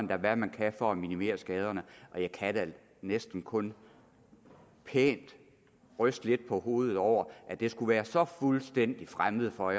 hvad man kan for at minimere skaderne og jeg kan da næsten kun pænt ryste lidt på hovedet over at det skulle være så fuldstændig fremmed for